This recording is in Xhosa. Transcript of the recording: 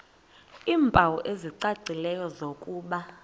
iimpawu ezicacileyo zokuba